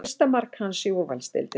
Fyrsta mark hans í úrvalsdeildinni